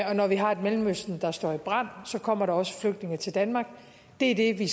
og når vi har et mellemøsten der står i brand så kommer der også flygtninge til danmark det er det vi